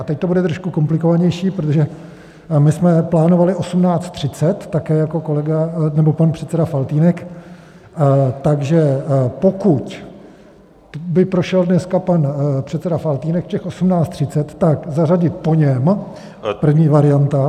A teď to bude trošku komplikovanější, protože my jsme plánovali 18.30 také jako kolega nebo pan předseda Faltýnek, takže pokud by prošel dneska pan předseda Faltýnek v těch 18.30, tak zařadit po něm - první varianta.